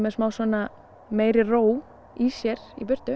smá svona meiri ró í sér í burtu